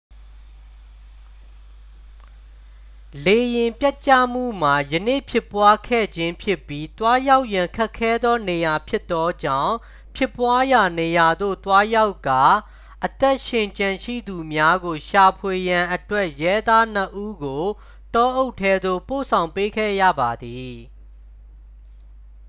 လေယာဉ်ပျက်ကျမှုမှာ ယနေ့ဖြစ်ပွားခဲ့ခြင်းဖြစ်ပြီး သွားရောက်ရန်ခက်ခဲသောနေရာဖြစ်သောကြောင့် ဖြစ်ပွားရာနေရာသို့သွားရောက်ကာ အသက်ရှင်ကျန်ရှိသူများကိုရှာဖွေရန်အတွက် ရဲသားနှစ်ဦးကို တောအုပ်ထဲသို့ ပို့ဆောင်ပေးခဲ့ရပါသည်